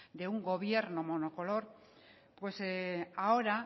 de un gobierno monocolor pues ahora